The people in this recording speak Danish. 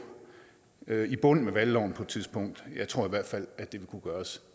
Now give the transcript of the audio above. i bund med valgloven på et tidspunkt jeg tror i hvert fald at det vil kunne gøres